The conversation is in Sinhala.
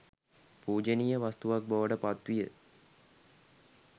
පූජනීය වස්තුවක් බවට පත් විය.